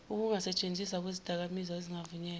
ukungasentshenziswa kwezidakamizwa ezingavunyelwe